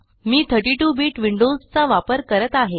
मी 32 bit Windows चा वापर करत आहे